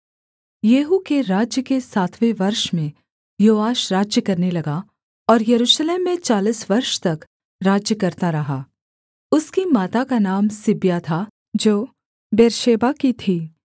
येहू के राज्य के सातवें वर्ष में योआश राज्य करने लगा और यरूशलेम में चालीस वर्ष तक राज्य करता रहा उसकी माता का नाम सिब्या था जो बेर्शेबा की थी